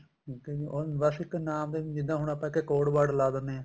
ਠੀਕ ਏ ਜੀ ਉਹ ਬੱਸ ਇੱਕ ਨਾਮ ਦਾ ਜਿੱਦਾਂ ਹੁਣ ਆਪਾਂ ਇੱਥੇ code word ਲਾ ਦਿੰਨੇ ਹਾਂ